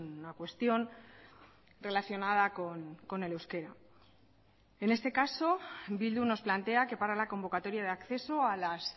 una cuestión relacionada con el euskera en este caso bildu nos plantea que para la convocatoria de acceso a las